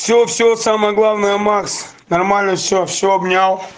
всё-всё самое главное макс нормально всё всё обнял